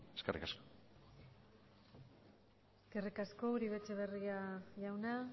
eskerrik asko eskerrik asko uribe etxebarria jauna